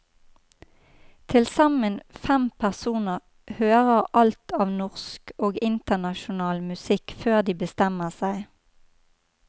Tilsammen fem personer hører alt av norsk og internasjonal musikk før de bestemmer seg.